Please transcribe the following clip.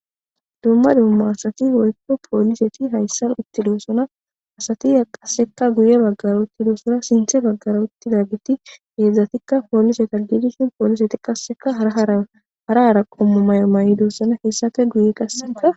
Dumma dumma asathi woykko poolisethi hayssan uththidoosona; asathi qassikka guyye baggara uththidosona; sinththe baggara uththidaageethi heezzathikka poolisetha gidishin poolisethi qassikka hara hara qommo maayuwa mayidosona; hessape guye qassikka.